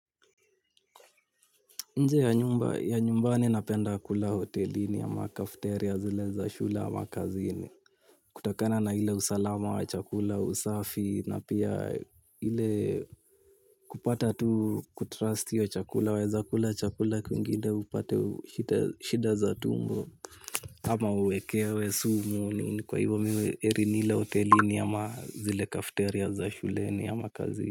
Nje ya nyumba ya nyumbani napenda kula hotelini ama cafeteria zile za shule ama kazini. Kutokana na ile usalama wa chakula usafi na pia ile kupata tu kutrust hiyo chakula waeza kula chakula kwingine upate shida za tumbo. Ama uwekewe sumu ni kwa hivyo mimi heri nile hotelini ama zile cafeteria za shuleni ama kazini.